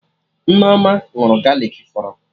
Nneoma ṅụrụ galik fọrọ